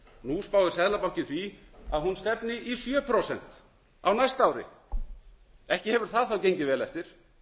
nú spáir seðlabankinn því að hún stefni í sjö prósent á næsta ári ekki hefur það þá gengið vel eftir